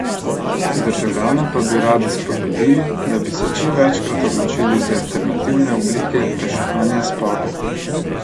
Državljane pa bi radi spodbudili, da bi se čim večkrat odločali za alternativne oblike reševanja sporov.